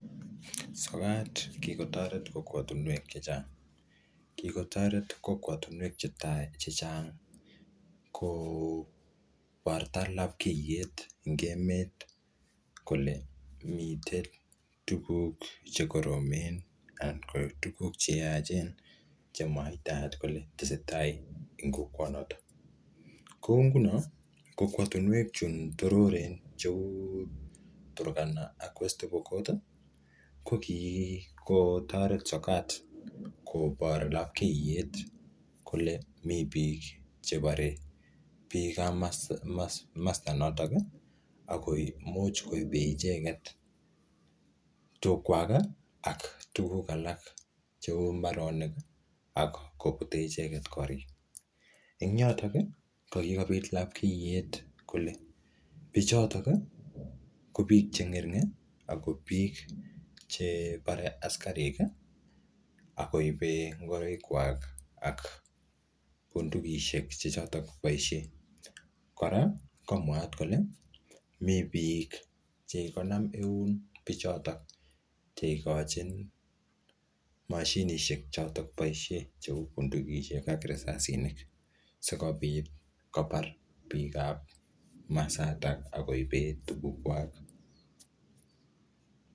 Sokat, kikotoret kokwotunwek chechang. Kikotoret kokwatunwek che tai chechang, koborto lapkeiyet eng emet, kole mitei tuguk che koromen, anan ko tuguk che yaachen che mwaitaat kole tesetai eng kokwok notok. Kou nguno, kokwotunwek chun tororen kou Turkana ak West Pokot, ko kikotoret sokat kobor lapkeiyet kobor kole mii biik che bore biik ap masta notok, ako imuch koinee icheket tug kwak aka tuguk alak cheu mbaronik ak kobute icheket korik. Eng yotok, ko kikobit lapkeiyet kole bichotok, ko biik che ng'ering, ako bik chebare askaraik, akoibe ngoroik kwak ak bundukishek che chotok boisie. Kora, ko mwaat kole mii biik che kikonam eun bichotok, che ikochin mashinishek chotok boisie cheu bundukishek ak risasinik. Sikobit kobar biik ap masatak, akoibe tuguk kwak.